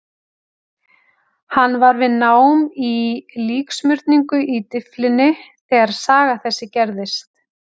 Hann var við nám í líksmurningu í Dyflinni þegar saga þessi gerðist.